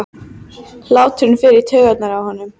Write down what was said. Hláturinn fer í taugarnar á honum.